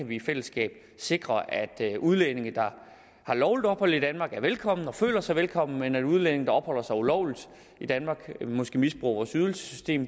vi i fællesskab kan sikre at udlændinge der har lovligt ophold i danmark er velkomne og føler sig velkomne men at udlændinge der opholder sig ulovligt i danmark måske misbruger vores ydelsessystem